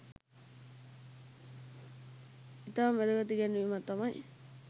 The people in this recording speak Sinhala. ඉතාම වැදගත් ඉගැන්වීමක් තමයි